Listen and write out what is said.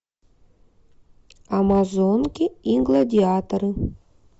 амазонки и гладиаторы